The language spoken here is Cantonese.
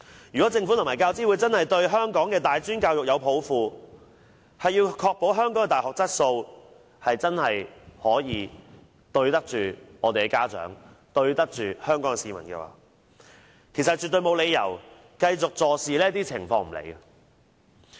如果政府和教資會真的對香港的大專教育有抱負，要確保香港的大學質素，對得住家長和香港市民，絕對沒有理由繼續對這些情況坐視不理。